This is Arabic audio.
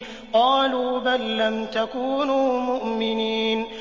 قَالُوا بَل لَّمْ تَكُونُوا مُؤْمِنِينَ